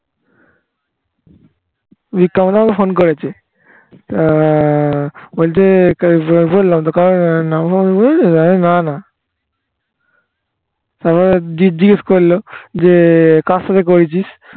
বিক্রম দা ও ফোন করেছে আহ বলছে না না তারপর জিজিজ্ঞেস করলো যে কার সঙ্গে করেছিস